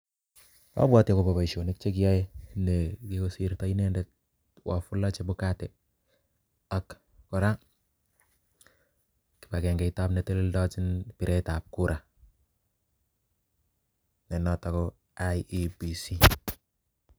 Abwoti akoba boisionik che kiyae ne kikosirto inendet Wafula Chebukati, ak kora kibagengeit tab ne itelelndochin biretab kura, ne notok ko IEBC.